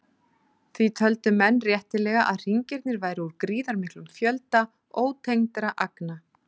Því töldu menn réttilega að hringirnir væru úr gríðarmiklum fjölda ótengdra agna.